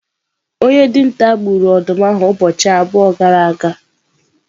Onye dinta gburu ọdụm ahụ ụbọchị abụọ gara aga?